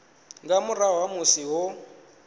nga murahu ha musi ho